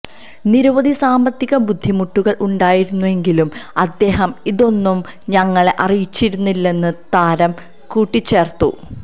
നിരവധി സാമ്പത്തിക ബുദ്ധിമുട്ടുകള് ഉണ്ടായിരുന്നെങ്കിലും അദ്ദേഹം ഇതൊന്നും തങ്ങളെ അറിയിച്ചിരുന്നില്ലെന്ന് താരം കൂട്ടിച്ചേര്ത്തു